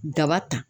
Daba ta